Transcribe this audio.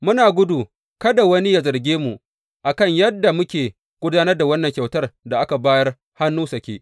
Muna gudu kada wani yă zarge mu, a kan yadda muke gudanar da wannan kyautar da aka bayar hannu sake.